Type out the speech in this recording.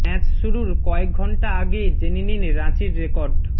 match শুরুর কয়েক ঘণ্টা আগে জেনে নিন রাঁচির রেকর্ড